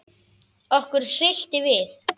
Okkur hryllti við.